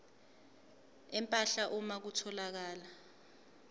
empahla uma kutholakala